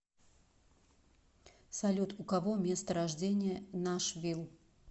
салют у кого место рождения нашвилл